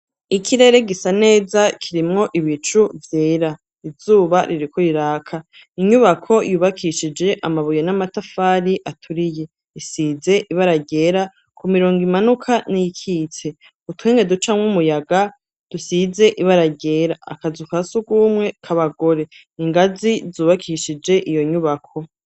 Ikirere gisa neza, kirimwo ibicu vyera. Izuba ririko riraka, inyubako yubakishije amabuye n'amatafari aturiye, isize ibara ryera, ku mirongo imanuka n'iyikitse utwenge duca mw'umuyaga dusize ibara ryera akazu kasugumwe k'abagore ingazi zubakishije iyo nyubako.